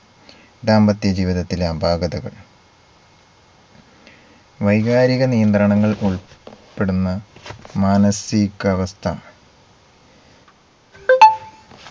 ദാമ്പത്യ ജീവിതത്തിലെ അപാകതകൾ വൈകാരിക നിയന്ത്രണങ്ങൾ ഉൾപ്പെടുന്ന മാനസികാവസ്ഥ